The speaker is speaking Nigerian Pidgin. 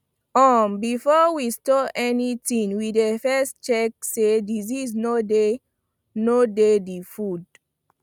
um before we store anything we dey first check say disease no dey no dey the food